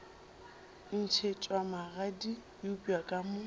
ntšhetšwa magadi eupša ka mo